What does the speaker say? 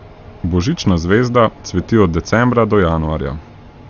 Božična zvezda cveti od decembra do januarja.